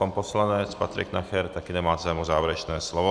Pan poslanec Patrik Nacher také nemá zájem o závěrečné slovo.